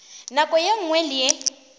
nako ye nngwe le ye